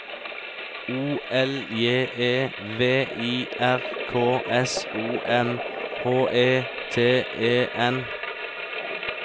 O L J E V I R K S O M H E T E N